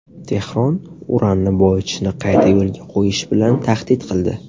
Tehron uranni boyitishni qayta yo‘lga qo‘yish bilan tahdid qildi.